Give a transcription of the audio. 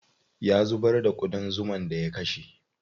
Ya zubar da ƙudan zuman da ya kashe.